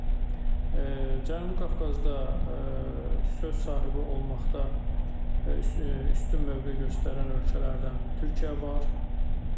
Cənubi Qafqazda söz sahibi olmaqda üstün mövqe göstərən ölkələrdən Türkiyə var.